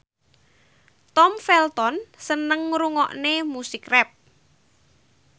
Tom Felton seneng ngrungokne musik rap